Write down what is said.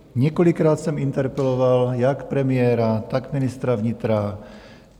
Několikrát jsem interpeloval jak premiéra, tak ministra vnitra.